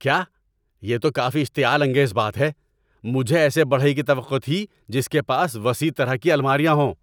کیا؟ یہ تو کافی اشتعال انگیز بات ہے! مجھے ایسے بڑھئی کی توقع تھی جس کے پاس وسیع طرح کی الماریاں ہوں۔